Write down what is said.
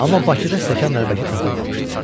Amma Bakıda stəkan-nəlbəki tapılmamışdı.